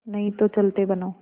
नहीं तो चलते बनो